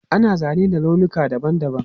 Ana zane da launuka dabam dabam.